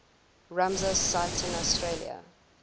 ramsar sites in australia